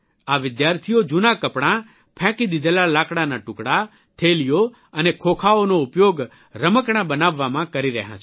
આ વિદ્યાર્થીઓ જૂના કપડાં ફેંકી દીધેલા લાકડાના ટુકડા થેલીઓ અને ખોખાઓનો ઉપયોગ રમકડાં બનાવવામાં કરી રહ્યાં છે